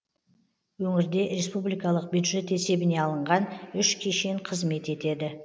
өңірде республикалық бюджет есебіне алынған үш кешен қызмет етеді